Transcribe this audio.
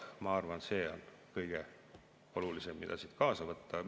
Ma arvan, et see on kõige olulisem, mida siit kaasa võtta.